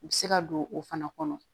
U bɛ se ka don o fana kɔnɔ